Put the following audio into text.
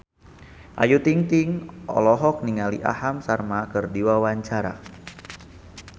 Ayu Ting-ting olohok ningali Aham Sharma keur diwawancara